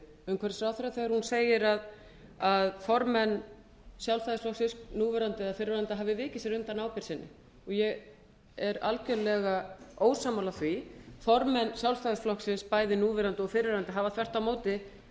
umhverfisráðherra þegar hún segir að formenn sjálfstæðisflokksins núverandi eða fyrrverandi hafi vikið sér undan ábyrgð sinni ég er algjörlega ósammála því formenn sjálfstæðisflokksins bæði núverandi og fyrrverandi hafa þvert á móti